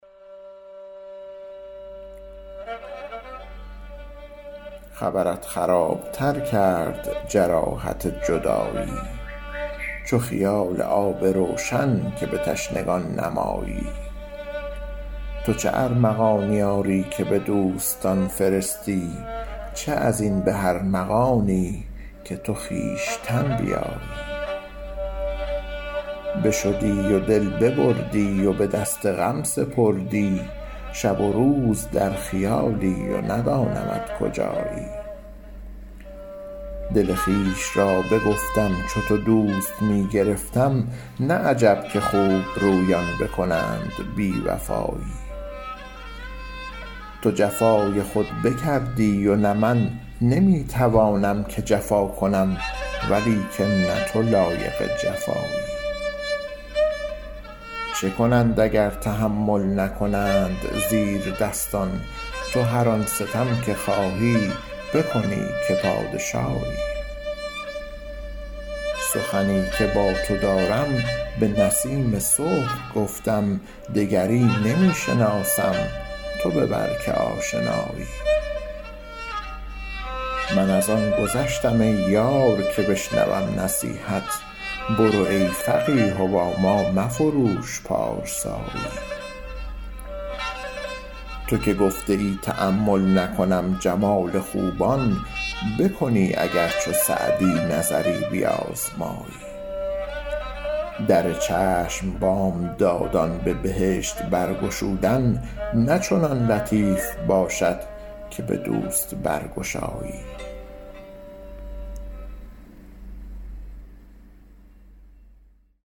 خبرت خراب تر کرد جراحت جدایی چو خیال آب روشن که به تشنگان نمایی تو چه ارمغانی آری که به دوستان فرستی چه از این به ارمغانی که تو خویشتن بیایی بشدی و دل ببردی و به دست غم سپردی شب و روز در خیالی و ندانمت کجایی دل خویش را بگفتم چو تو دوست می گرفتم نه عجب که خوبرویان بکنند بی وفایی تو جفای خود بکردی و نه من نمی توانم که جفا کنم ولیکن نه تو لایق جفایی چه کنند اگر تحمل نکنند زیردستان تو هر آن ستم که خواهی بکنی که پادشایی سخنی که با تو دارم به نسیم صبح گفتم دگری نمی شناسم تو ببر که آشنایی من از آن گذشتم ای یار که بشنوم نصیحت برو ای فقیه و با ما مفروش پارسایی تو که گفته ای تأمل نکنم جمال خوبان بکنی اگر چو سعدی نظری بیازمایی در چشم بامدادان به بهشت برگشودن نه چنان لطیف باشد که به دوست برگشایی